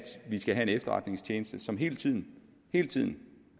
vi skal have en efterretningstjeneste som hele tiden hele tiden